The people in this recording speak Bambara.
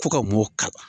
Ko ka moka